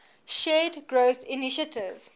shared growth initiative